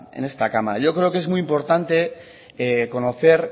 en esta cámara yo creo que es muy importante conocer